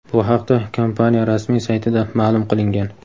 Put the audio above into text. Bu haqda kompaniya rasmiy saytida ma’lum qilingan.